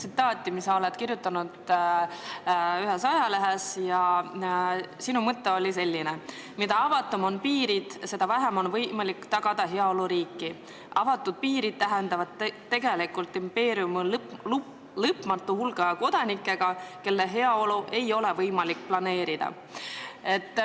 Ühte ajalehte oled sa kirjutanud sellise mõtte: "Mida avatumad on piirid, seda vähem on võimalik tagada heaoluriiki: avatud piirid tähendavad tegelikult impeeriumi lõpmatu hulga kodanikega, kelle heaolu ei ole võimalik planeerida.